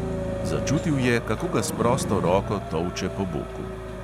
Začutil je, kako ga s prosto roko tolče po boku.